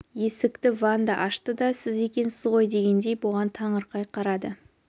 есікті ванда ашты да сіз екенсіз ғой дегендей бұған таңырқай қарады